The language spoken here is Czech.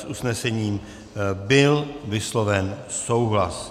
S usnesením byl vysloven souhlas.